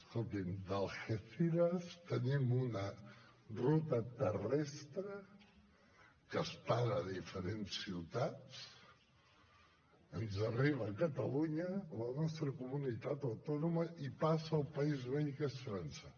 escolti’m d’algeciras tenim una ruta terrestre que es para a diferents ciutats ens arriba a catalunya a la nostra comunitat autònoma i passa al país veí que és frança